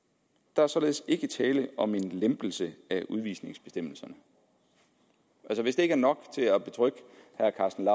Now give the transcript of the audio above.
der således ikke er tale om en lempelse af udvisningsbestemmelserne hvis det ikke er nok til at betrygge herre karsten